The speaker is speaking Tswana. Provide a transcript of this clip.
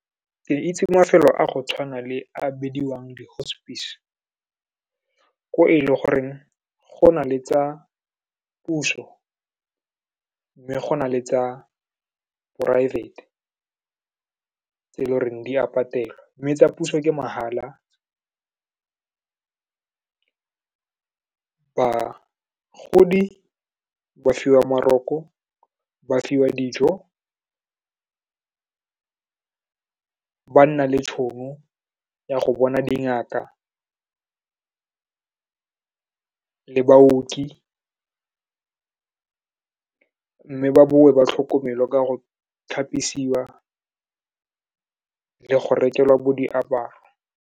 Ke itse mafelo a go tshwana le a bidiwang di-hospice, o e le goreng go na le tsa puso, mme go na le tsa poraefete, tse e le goreng di a patelwa, mme tsa puso ke mahala. Bagodi ba fiwa maroko, ba fiwa dijo, ba nna le tšhono ya go bona dingaka le baoki, mme ba bowe ba tlhokomelwa ka go tlhapisiwa le go rekelwa bo diaparo.